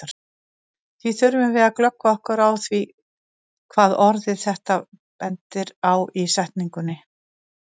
Því þurfum við að glöggva okkur á því hvað orðið þetta bendir á í setningunni.